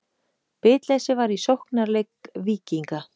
Bitleysi var í sóknarleik Víkinga.